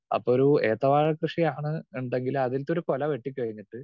speaker 2 അപ്പോ ഒരു ഏത്തവാഴ കൃഷി ആണ് ഉണ്ടെങ്കിൽ അതിലത്തെ ഒരു കൊല വെട്ടി കഴിഞ്ഞിട്ട്